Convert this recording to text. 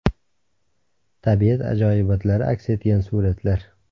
Tabiat ajoyibotlari aks etgan suratlar .